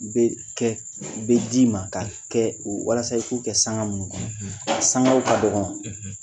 Be kɛ, be d'i ma ka kɛ walasa i k'u kɛ sanga munnu , sangaw ka dɔgɔ